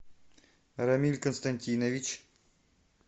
рамиль константинович